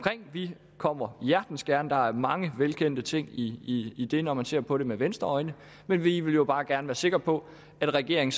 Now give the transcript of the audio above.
vi kommer hjertens gerne der er mange velkendte ting i i det når man ser på det med venstreøjne men vi vil jo bare gerne være sikre på at regeringen